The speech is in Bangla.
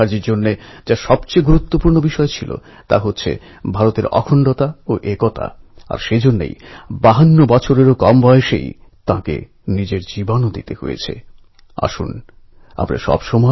সাধুসন্ন্যাসীদের যেমন এক উজ্জ্বল ঐতিহ্য রয়েছে আমাদের দেশে ঠিক সেইরকম কর্মবীর মহাপুরুষেরা মাতৃভূমিকে রক্ষা করতে জীবনদান করেছেন নিজেদের সমর্পিত করেছেন